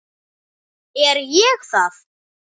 Er ég það?